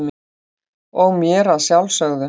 og mér að sjálfsögðu.